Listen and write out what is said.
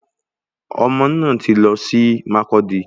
Omo náà tí lọ sí Mákọdi